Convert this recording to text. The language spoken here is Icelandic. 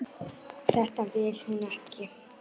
Þetta vill hún ekki.